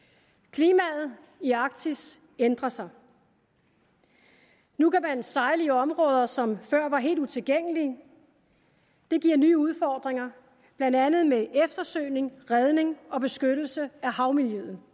klimaet i arktis ændrer sig nu kan man sejle i områder som før var helt utilgængelige det giver nye udfordringer blandt andet med eftersøgning redning og beskyttelse af havmiljøet